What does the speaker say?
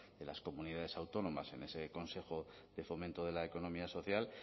de las comunidades autónomas en ese consejo de fomento de la economía social